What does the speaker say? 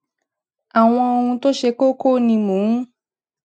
awon ohun to se koko ni mo n